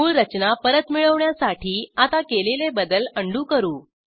मूळ रचना परत मिळवण्यासाठी आता केलेले बदल Undoकरू